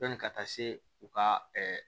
Yanni ka taa se u ka